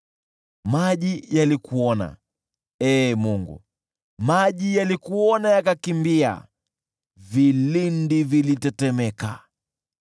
Maji yalikuona, Ee Mungu, maji yalikuona yakakimbia, vilindi vilitetemeka.